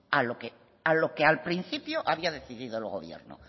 a lo que al principio había decidido el gobierno